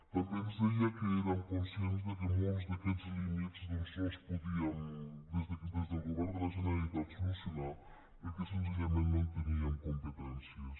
també ens deia que érem conscients que molts d’aquests límits doncs no els podíem des del govern de la generalitat solucionar perquè senzillament no en teníem competències